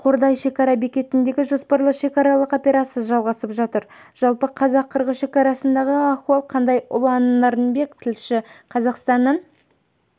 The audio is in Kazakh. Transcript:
қордай шекара бекетінде жоспарлы шекаралық операция жалғасып жатыр жалпы қазақ-қырғыз шекарасындағы ахуал қандай ұлан нарынбек тілші қазақстанның